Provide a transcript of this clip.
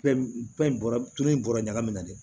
bɔra tulu in bɔrɔ ɲagami na dɛ